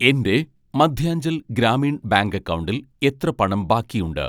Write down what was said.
എൻ്റെ മദ്ധ്യാഞ്ചൽ ഗ്രാമീൺ ബാങ്ക് അക്കൗണ്ടിൽ എത്ര പണം ബാക്കിയുണ്ട്